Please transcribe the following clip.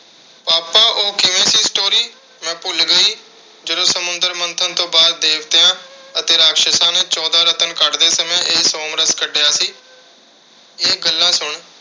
papa ਉਹ ਕਿਵੇਂ ਸੀ story ਮੈਂ ਭੁੱਲ ਗਈ ਜਦੋਂ ਸਮੁੰਦਰ ਮੰਥਨ ਤੋਂ ਬਾਅਦ ਦੇਵਤਿਆਂ ਅਤੇ ਰਾਖਸ਼ਸ਼ਾਂ ਨੇ ਚੌਦਾਂ ਰਤਨ ਕੱਢਦੇ ਸਮੇਂ ਇਹ ਸੋਮਰਸ ਕੱਢਿਆ ਸੀ। ਇਹ ਗੱਲਾਂ ਸੁਣ।